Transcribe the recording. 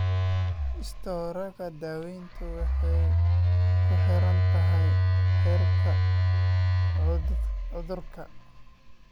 Istaroogga, daaweyntu waxay kuxirantahay heerka cudurka.